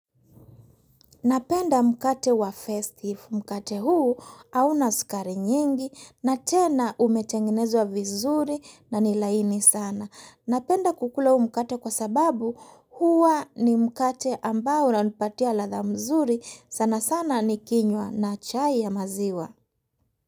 Napenda mkate wa festive mkate huu auna sukari nyingi na tena umetengenezwa vizuri na ni laini sana. Napenda kukula huu mkate kwa sababu huwa ni mkate ambao unanipatia ladha mzuri sana sana nikinywa na chai ya maziwa.